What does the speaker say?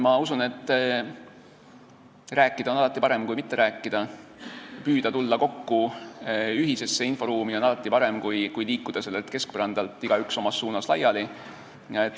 Ma usun, et rääkida on alati parem kui mitte rääkida, püüda tulla kokku ühisesse inforuumi on alati parem kui liikuda keskpõrandalt igaüks omas suunas laiali.